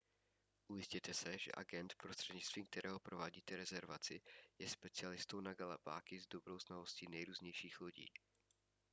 ujistěte se že agent prostřednictvím kterého provádíte rezervaci je specialistou na galapágy s dobrou znalostí nejrůznějších lodí